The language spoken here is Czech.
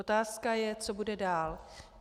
Otázka je, co bude dál.